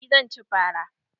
Eh zan ci fara.